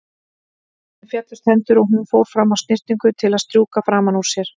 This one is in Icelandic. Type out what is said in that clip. Henni féllust hendur og hún fór fram á snyrtingu til að strjúka framan úr sér.